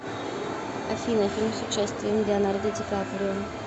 афина фильм с участием леонардо дикаприо